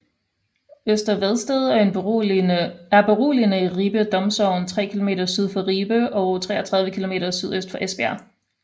Øster Vedsted er beliggende i Ribe Domsogn tre kilometer syd for Ribe og 33 kilometer sydøst for Esbjerg